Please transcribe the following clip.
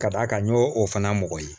Ka d'a kan n y'o o fana mɔgɔ ye